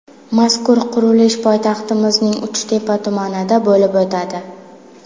Mazkur qurilish poytaxtimizning Uchtepa tumanida bo‘lib o‘tadi.